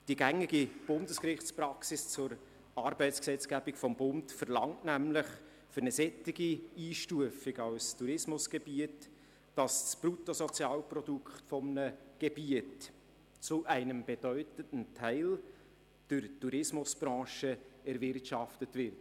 Die gängige Bundesgerichtspraxis zur Arbeitsgesetzgebung des Bundes verlangt für eine solche Einstufung als Tourismusgebiet, dass das Bruttosozialprodukt dieses Gebiets zu einem bedeutenden Teil in der Tourismusbranche erwirtschaftet wird.